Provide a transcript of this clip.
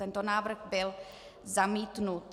Tento návrh byl zamítnut.